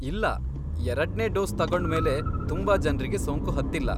ಇಲ್ಲಾ, ಎರಡ್ನೇ ಡೋಸ್ ತಗೊಂಡ್ಮೇಲೆ ತುಂಬಾ ಜನ್ರಿಗೆ ಸೋಂಕು ಹತ್ತಿಲ್ಲ.